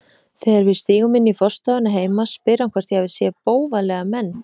Þegar við stígum inn í forstofuna heima spyr hann hvort ég hafi séð bófalega menn.